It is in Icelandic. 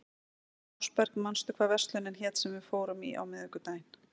Ásberg, manstu hvað verslunin hét sem við fórum í á miðvikudaginn?